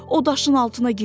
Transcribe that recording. O daşın altına girdi.